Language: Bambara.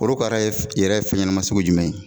Olu kara ye yɛrɛ ye fɛn ɲanaman sugu jumɛn ye?